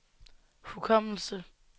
hukommelse